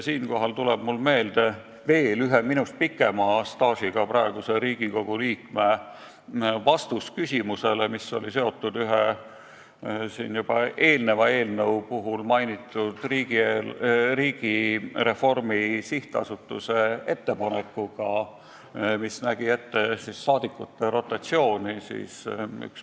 Siinkohal tuleb mulle meelde ühe minu omast pikema staažiga praeguse Riigikogu liikme vastus küsimusele, mis oli seotud ühe juba eelneva eelnõu puhul mainitud Riigireformi Sihtasutuse ettepanekuga, mis pakkus välja rahvasaadikute rotatsiooni.